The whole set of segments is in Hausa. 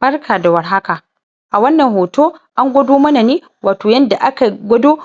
Barka da warhaka a wannan hoto an gwado mana ne watau yanda aka gwado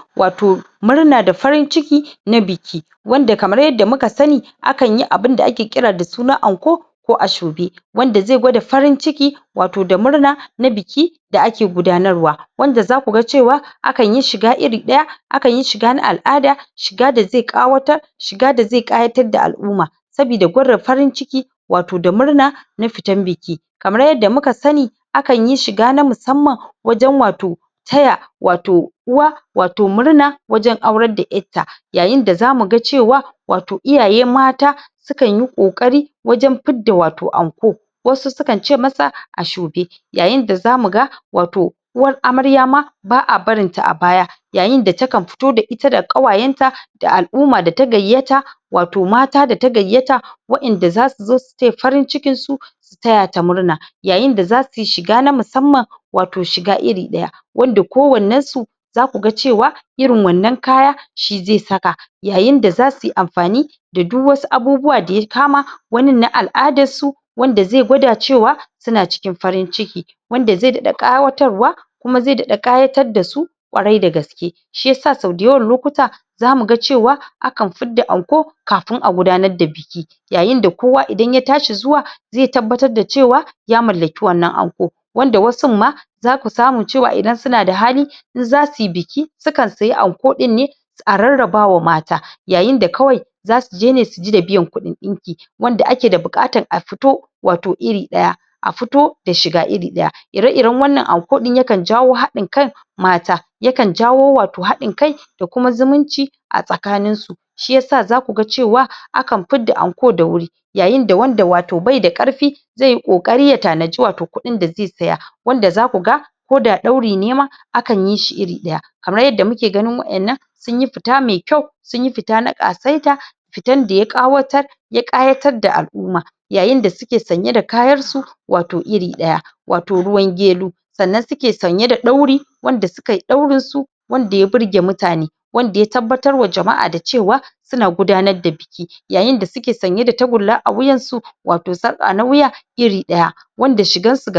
murna da farin ciki na biki wanda kamar yadda muka sani akan yi abunda ake kira da suna anko ko ashobe wanda zai gwada farin ciki watau da murna na biki da ake gudanarwa wanda zaku ga cewa akan yi shiga iri ɗaya akan yi shiga na al'ada shiga da zai ƙawatar shiga da zai ƙayatar da al'umma sabida gwada farin ciki watau da murna na fitan biki kamar yadda muka sani akan yi shiga na musamman wajen watau taya watau uwa watau murna wajen aurar da ƴarta yayin da zamu ga cewa watau iyaye mata sukan yi ƙoƙari wajen ifdda watau anko wasu sukan ce masa ashobe yayin da zamu ga watau uwar amarya ma ba a barin ta a baya yayin da takan fito da ita da ƙawayenta da al'umma da ta gayyata watau mata da ta gayyata wa'inda zasu zo su taya farin cikin su taya ta murna yayin da zasu yi shiga ta musmman watau shiga iri ɗaya wanda ko wannensu zaka cewa irin wanna kaya shi zai saka yayin da zasu yi amfani da duk wasu abubuwa da ya kama wani na al'adan su wanda zai gwada cewa suna cikin farin ciki wanda zai daɗa ƙayatarwa kuma zai daɗa ƙayatar da su ƙawarai da gaske Shiyasa sau dayawan lokuta zamu ga cewa akan fidda anko kafin a gudanar da biki yayin da kowa idan ya tashi zuwa zai tabbatar da cewa Ya mallaki wannan anko wanda wasun ma zaku samu cewa idan suna da hali in zasu yi biki sukan siya anko ɗinne a rarrabawa mata yayin da kawai zasu zo ne su ji da biyan kuɗin ɗinki wanda ake da buƙatan a fito watau iri ɗaya a fito da shiga iri ɗaya ire-iren wannan anki ɗin yakan jawo haɗin kan mata yakan jawo watau haɗin kai da kuma zumunci a tsakanin su shiyasa zaku ga cewa akan fidda anko da wuri yayin da watau wanda bai da ƙarfi zai yi ƙoƙari ya tanaji watau kuɗin da zai saya wanda zaku ga koda ɗauri ne ma akan yi shi iri ɗaya kamar yadda muke ganin wa'innan sun yi fita mai kyau sunyi fita na ƙasaita fitan da ya ƙawatar ya ƙayatar da al'umma yayin da suke sanye da kayar su watau iri ɗaya watau ruwan gero sannan suke sanye da ɗauri wanda suka yi ɗaurin su wanda ya burge mutane wanda ya tabbatar wa jama'a da cewa suna gudanar da biki yayin da suke sanye da tagulla a wuyansu watau sarƙa na wuya iri ɗaya wanda shigansu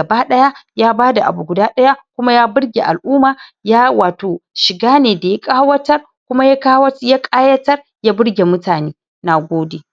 ya bada abu guda ɗaya kuma ya burge al'umma ya watau shiga ne da ya ƙayatar kuma ya ƙayatar ya burge mutane. Nagode.